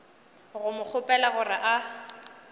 go mo kgopela gore a